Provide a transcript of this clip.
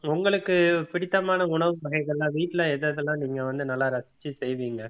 உங்களுக்கு பிடித்தமான உணவு வகைகள் எல்லாம் வீட்ல எது எதெல்லாம் நீங்க வந்து நல்லா ரசிச்சு செய்வீங்க